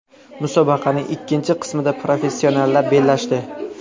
Musobaqaning ikkinchi qismida professionallar bellashdi.